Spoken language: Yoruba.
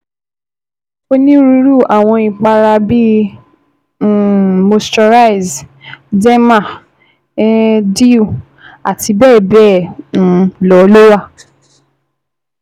Oniruru awọn ipara bii um Moisturize, Derma um Dew, àti bẹ́ẹ̀bẹ́ẹ̀ um lọ ló wa